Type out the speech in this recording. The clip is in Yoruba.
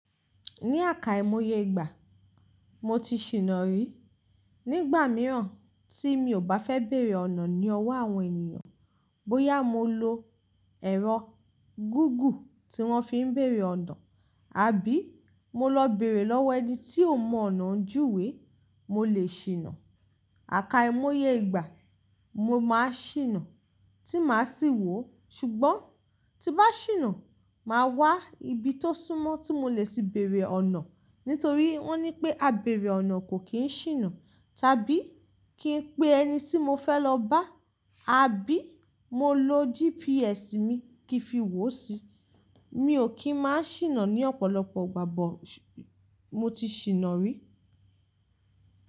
Ní àkà imoye ìgbà, mo ti ṣìnà rí. Nígbà mìíràn tí mi ò bá fẹ́ bèrè ọ̀nà ní ọwọ́ àwọn ènìyàn, bóyá mo lo ẹ̀rọ Google tí wọ́n fi ń bèrè ọ̀nà, àbí mo lọ bèrè lọ́wọ́ ẹni tí ò mọ ọ̀nà ń júwe, mo lè ṣìnà. Àká imoye ìgbà, mo máa ṣìnà tí màá sì wò ó, ṣùgbọ́n tí bá ṣìnà, màá wá ibi tó súnmọ́ tí mo lè ti bèrè ọ̀nà. Nítorí wọ́n ní pé, "A bèrè ọ̀nà kò kí ń ṣìnà." Tàbí kí n pe ẹni tí mo fẹ́ lọ bá, àbí mo lo GPS mi kí n fi wò si. Mi ò kí ń má ṣìnà ní ọ̀pọ̀lọpọ̀ ìgbà but, mo ti ṣìnà rí.